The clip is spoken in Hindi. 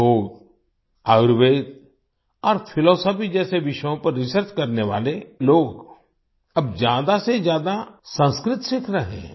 योग आयुर्वेद और फिलॉसफी जैसे विषयों पर रिसर्च करने वाले लोग अब ज्यादा से ज्यादा संस्कृत सीख रहे हैं